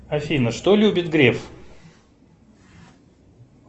афина что любит греф